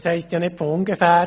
Es heisst nicht von ungefähr: